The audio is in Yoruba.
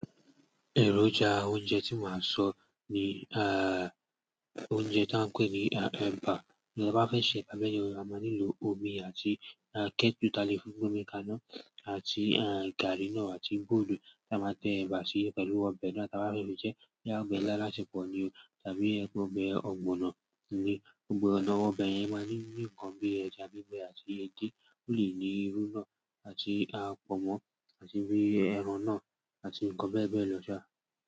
Ẹ̀rọjà oúnjẹ tí máa sọ ni, aah, oúnjẹ tí a ń pè ní, ah, ẹ̀bà. Tí a bá fẹ́ ṣe ẹ̀bà bẹ́ yen a máa nílò omi àti, eh, kẹ́tù tí a lè fi gbe omi kaná àti, eh, gàárí náà àti bọ́ọ̀lù tí a máa tẹ ẹ̀bà sí pẹ̀lú ọbẹ̀ náà tí a bá fẹ́ fí jẹ́ boya ọbẹ̀ ila alaṣepọ̀ ni o tàbí ẹ gbo ọbẹ̀ ọ̀gbọ̀nọ̀ ni. Ọ̀gbọ̀nọ̀ ọbẹ̀ yẹn máa ní nǹkan bí ẹja gbígbẹ àti edé, ó lè ní irú náà àti, ah, pọ̀nmọ́ àti bí i ẹran náà àti nǹkan bẹ́ẹ̀ bẹ́ẹ̀ lọ sá.